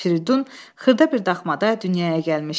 Firidun xırda bir daxmada dünyaya gəlmişdi.